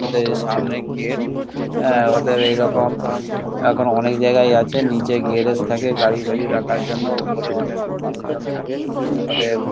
ওদের সামনে গেট হা ওদের এরকম অনেকজায়গায় আছে নিচে গেরেজে থাকে গাড়ি তারই রাখার জন্যে ওপরে অনেক মানুষজন থাকে অতএব--